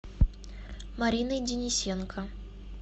мариной денисенко